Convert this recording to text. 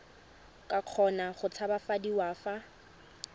ka kgona go tshabafadiwa fa